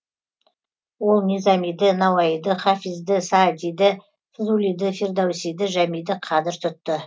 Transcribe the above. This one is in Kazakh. ол низамиді науаиді хафизді саадиді фзулиді фирдоусиді жәмиді қадір тұтты